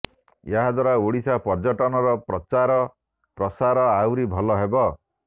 ଏହା ଦ୍ୱାରା ଓଡ଼ିଶା ପର୍ଯ୍ୟଟନର ପ୍ରଚାର ପ୍ରସାର ଆହୁରି ଭଲ ହେବ